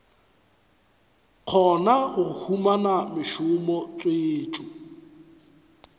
kgona go humana mešomo tswetšo